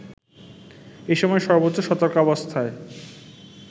এসময় সর্বোচ্চ সতর্কাবস্থায়